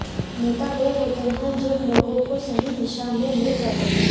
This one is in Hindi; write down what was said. नेता वे होते हैं जो लोगों को सही दिशा में ले जाते हैं